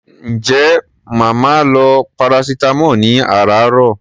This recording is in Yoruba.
Ǹjẹ́ màá máa lo paracetamol ní àràáàrọ̀?